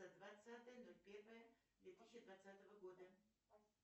двадцатое ноль первое две тысячи двадцатого года